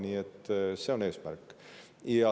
Nii et see on eesmärk.